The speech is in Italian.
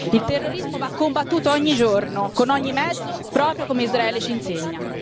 Il terrorismo va combattuto ogni giorno con ogni mezzo, proprio come Israele ci insegna.